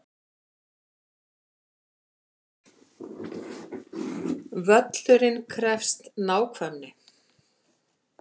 Völlurinn krefst nákvæmni